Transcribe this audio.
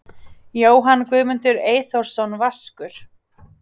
Jóhann Guðmundur Eyþórsson Vaskur